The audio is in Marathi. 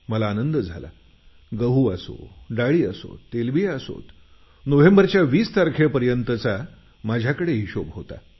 मला आनंद झाला गहू असो डाळी असोत तेलबिया असोत नोव्हेंबरच्या 20 तारखेपर्यंतचा माझा हिशोब होता